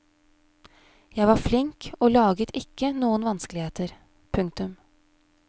Jeg var flink og laget ikke noen vanskeligheter. punktum